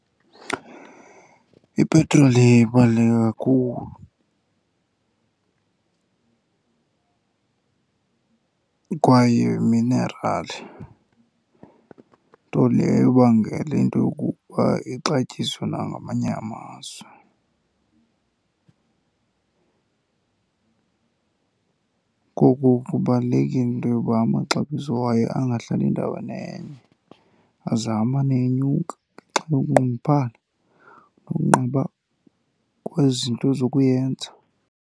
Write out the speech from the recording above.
Ipetroli ibaluleke kakhulu kwaye yiminerali, nto leyo ebangela into yokokuba ixatyiswe nangamanye amazwe. Ngoko kubalulekile into yoba amaxabiso wayo angahlali endaweni enye, aze amane enyuka ngenxa yokunqongophala nokunqaba kwezinto zokuyenza.